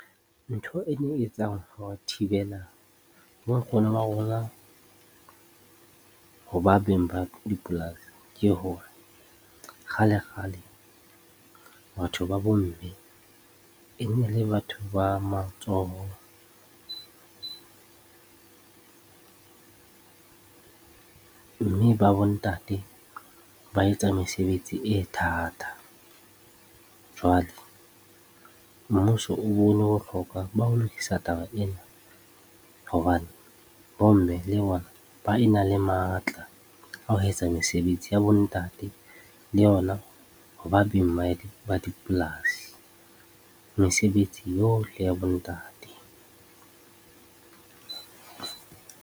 Ntho e thibela bonkgono ba rona ho ba beng ba dipolasi ke hore kgale-kgale batho ba bomme e ne le batho ba matsoho mme ba bontate ba etsa mesebetsi e thata. Jwale, mmuso o bone bohlokwa ba ho lokisa taba ena hobane bomme le bona ba e na le matla a ho etsa mesebetsi ya bontate le yona ho ba beng ba dipolasi, mesebetsi yohle ya bontate.